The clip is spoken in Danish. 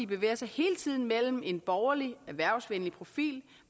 bevæger sig hele tiden mellem en borgerlig erhvervsvenlig profil